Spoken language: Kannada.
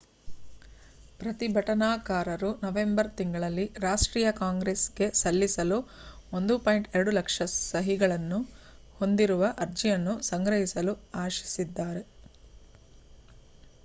ಪ್ರತಿಭಟನಾಕಾರರು ನವೆಂಬರ್ ತಿಂಗಳಿನಲ್ಲಿ ರಾಷ್ಟ್ರೀಯ ಕಾಂಗ್ರೆಸ್‌ಗೆ ಸಲ್ಲಿಸಲು 1.2 ಲಕ್ಷ ಸಹಿಗಳನ್ನು ಹೊಂದಿರುವ ಅರ್ಜಿಯನ್ನು ಸಂಗ್ರಹಿಸಲು ಆಶಿಸಿದ್ದಾರೆ